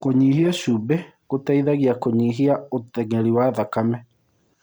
Kũnyĩhĩa cũmbĩ gũteĩthagĩa kũnyĩhĩa ũtengerĩ wa thakame